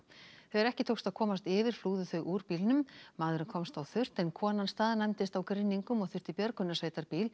þegar ekki tókst að komast yfir flúðu þau úr bílnum maðurinn komst á þurrt en konan staðnæmdist á grynningum og þurfti